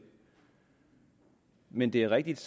men det er rigtigt